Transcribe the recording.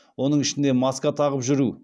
оның ішінде маска тағып жүру